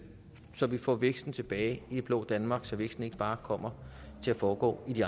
så vi får væksten tilbage i det blå danmark så væksten ikke bare kommer til at foregå i